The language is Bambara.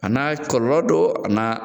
A N'a kɔlɔlɔ don , a n'a